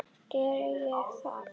Gerði ég það?